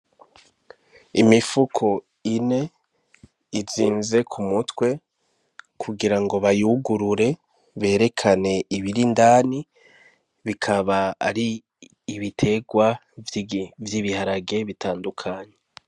Imifuko ine, izinze kumutwe, kugira ngo bayugurure berekane ibiri indani, bikaba ari ibiterwa vy'ibiharage bitandukanye.